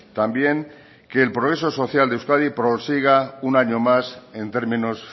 también que el progreso social de euskadi prosiga un año más en términos